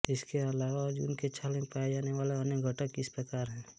इसके अलावा अर्जुन की छाल में पाए जाने वाले अन्य घटक इस प्रकार हैं